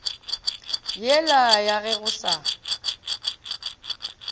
yela ya ge go sa